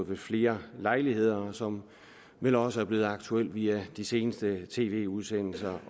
ved flere lejligheder og som vel også er blevet aktuelt i af de seneste tv udsendelser